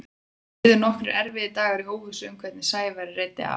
Það liðu nokkrir erfiðir dagar í óvissu um hvernig Sævari reiddi af.